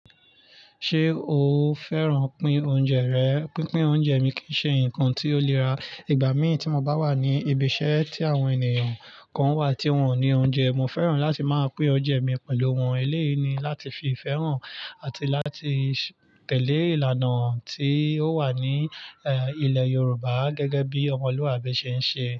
Ṣé o fẹ́ràn pín oúnjẹ rẹ? Pínpín oúnjẹ mi kì í ṣe nǹkan tí ó le ra. Ìgbà mìí tí mo bá wà ní ibi iṣẹ́ tí àwọn ènìyàn kan wà tí wọ́n ò ní oúnjẹ, mo fẹ́ràn láti máa pín oúnjẹ mi pẹ̀lú wọn. Eléyìí ni láti fi ìfẹ́ hàn àti láti tẹ̀lé ìlànà tí ó wà ní ilẹ̀ Yorùbá gẹ́gẹ́ bí ọmọlúàbí ṣe ń ṣe.